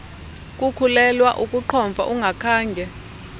kukhulelwa ukuqhomfa ungakhange